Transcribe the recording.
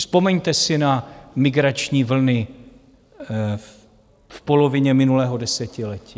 Vzpomeňte si na migrační vlny v polovině minulého desetiletí.